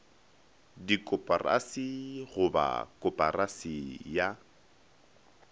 dikoporasi go ba koporasi ya